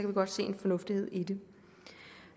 vi godt se en fornuft i det